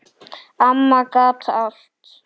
Amma gat allt.